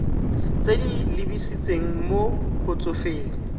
tse di lebisitseng mo batsofeng